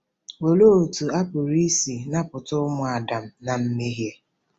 Olee otú a pụrụ isi napụta ụmụ Adam ná mmehie?